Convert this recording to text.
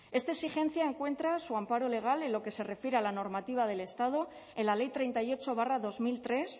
esta exigencia encuentra su amparo legal en lo que se refiere a la normativa del estado en la ley treinta y ocho barra dos mil tres